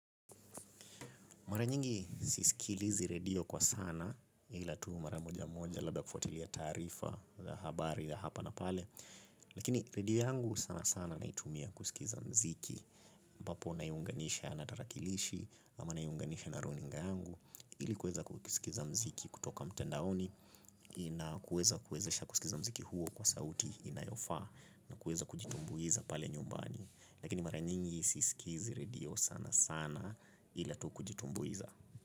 Mara nyingi sisikilizi redio kwa sana ila tu mara moja moja labda kufuatilia taarifa za habari za hapa na pale. Lakini redio yangu sana sana naitumia kusikiza muziki ambapo na iunganisha na tarakilishi ama na iunganisha na runinga yangu ili kuweza kusikiza mziki kutoka mtandaoni na kuweza kuwezesha kusikiza mziki huo kwa sauti inayofaa. Na kuweza kujitumbuiza pale nyumbani. Lakini mara nyingi sisikizi redio sana sana ila tukujitumbuiza.